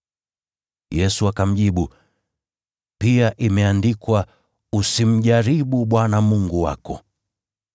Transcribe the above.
Yesu akamjibu, “Pia imeandikwa: ‘Usimjaribu Bwana Mungu wako.’ ”